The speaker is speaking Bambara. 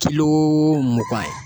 Kulo mugan ye.